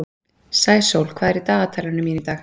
Sæsól, hvað er í dagatalinu mínu í dag?